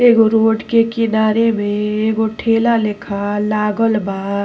एगो रोड के किनारे में एगो ठेला लेखा लागल बा।